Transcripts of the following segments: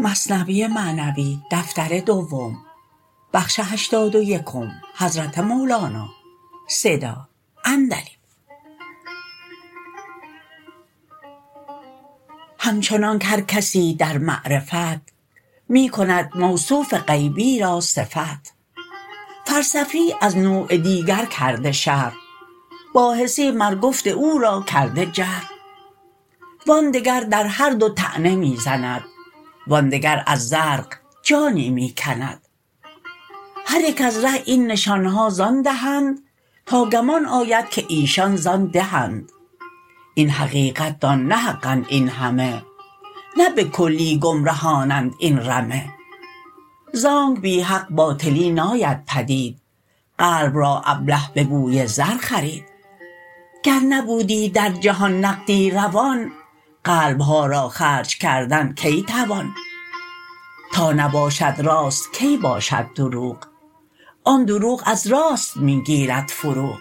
همچنانک هر کسی در معرفت می کند موصوف غیبی را صفت فلسفی از نوع دیگر کرده شرح باحثی مر گفت او را کرده جرح وآن دگر در هر دو طعنه می زند وآن دگر از زرق جانی می کند هر یک از ره این نشانها زان دهند تا گمان آید که ایشان زان ده اند این حقیقت دان نه حق اند این همه نه به کلی گمرهانند این رمه زانک بی حق باطلی ناید پدید قلب را ابله به بوی زر خرید گر نبودی در جهان نقدی روان قلبها را خرج کردن کی توان تا نباشد راست کی باشد دروغ آن دروغ از راست می گیرد فروغ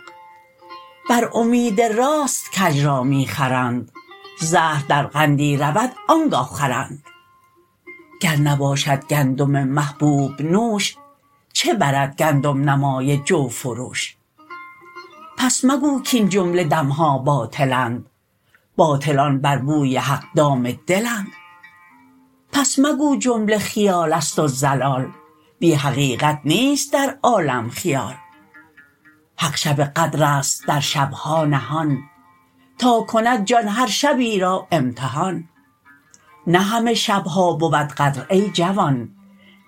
بر امید راست کژ را می خرند زهر در قندی رود آنگه خورند گر نباشد گندم محبوب نوش چه برد گندم نمای جو فروش پس مگو کین جمله دمها باطل اند باطلان بر بوی حق دام دل اند پس مگو جمله خیالست و ضلال بی حقیقت نیست در عالم خیال حق شب قدرست در شبها نهان تا کند جان هر شبی را امتحان نه همه شبها بود قدر ای جوان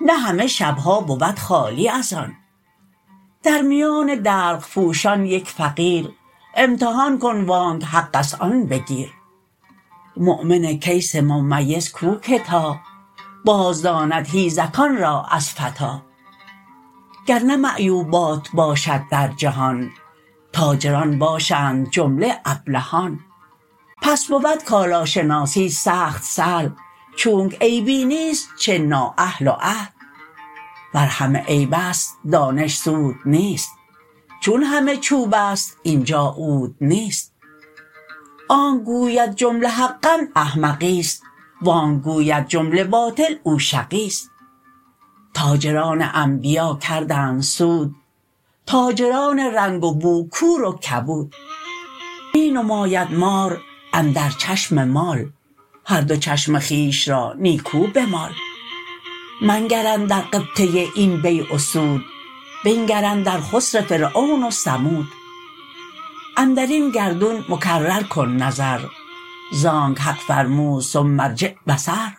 نه همه شبها بود خالی از آن در میان دلق پوشان یک فقیر امتحان کن وانک حقست آن بگیر مؤمن کیس ممیز کو که تا باز داند حیزکان را از فتی گرنه معیوبات باشد در جهان تاجران باشند جمله ابلهان پس بود کالاشناسی سخت سهل چونک عیبی نیست چه نااهل و اهل ور همه عیبست دانش سود نیست چون همه چوبست اینجا عود نیست آنکه گوید جمله حق اند احمقی ست وانکه گوید جمله باطل او شقی ست تاجران انبیا کردند سود تاجران رنگ و بو کور و کبود می نماید مار اندر چشم مال هر دو چشم خویش را نیکو بمال منگر اندر غبطه این بیع و سود بنگر اندر خسر فرعون و ثمود اندرین گردون مکرر کن نظر زانک حق فرمود ثم ارجع بصر